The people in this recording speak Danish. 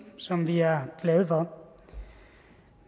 som vi er glade for